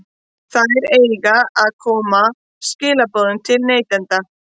Þær eiga að koma skilaboðum til neytenda.